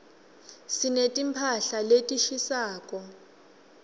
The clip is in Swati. sineti mphahla letishisako